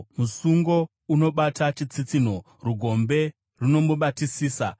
Musungo unomubata chitsitsinho; rugombe runomubatisisa.